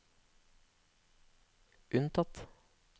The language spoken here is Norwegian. unntatt